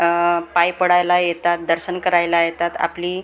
आह पाय पडायला येतात दर्शन करायला येतात आपली वर--